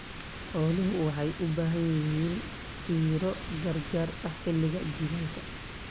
Xooluhu waxay u baahan yihiin fiiro gaar ah xilliga jiilaalka.